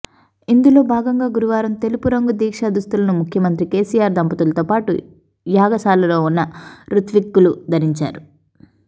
ఇందులో భాగంగా గురువారం తెలుపు రంగు దీక్షా దుస్తులను ముఖ్యమంత్రి కేసీఆర్ దంపతులతో పాటు యాగశాలలో ఉన్న రుత్విక్కులు ధరించారు